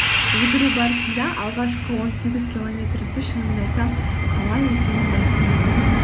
жүгіру барысында алғашқы он сегіз километрімді шынымды айтсам қалай өткенін байқамай қалдым